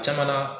Caman na